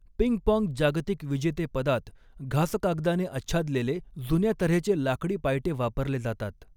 Ping pong जागतिक विजेतेपदात घासकागदाने आच्छादलेले जुन्या तऱ्हेचे लाकडी पायटे वापरले जातात.